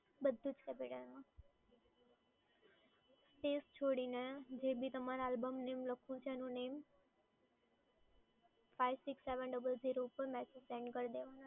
બધું જ capital માં. સ્પેસ છોડીને જે બી તમારે આલ્બમ name લખવું છે એનું name five six seven double zero પર